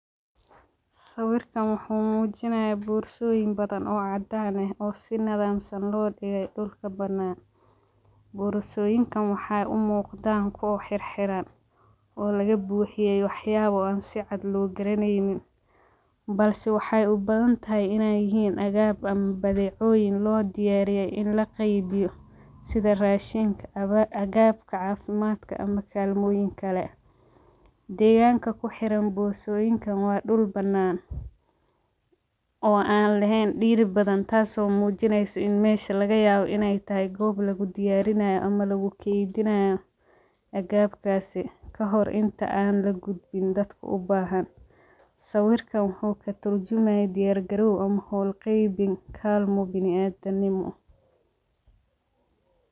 Sawirkan wuxuu muujinaya boorsooyin badan oo caddaan ah oo si nadaamsan loo dhigay dhulka banaan borosooyinkan waxay u muuqdaan koox xirxiran oo laga buuxiyay waxyaabo aan si cad loo garaneynin balse waxay u badan tahay inay yihiin agaab ama badeecooyin loo diyaariyey in la qaybiyo sida raashinka aba agaabka caafimaadka ama kaalmooyin kale deegaanka ku xiran boosaasooyinka waa dhul banaan oo aan lahayn dhiiri badan taasoo muujineyso in meesha laga yaabo in ay tahay goob lagu diyaarinayo ama lagu tihiin jinayo agaabkaasi ka hor inta aan la gudbin dadka u baahan sawirkan wuxu ka durjima dayar galow ama howl qabeyn kalmo biniadam nimo.